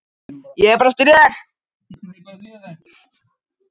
Ég er bara að stríða þér.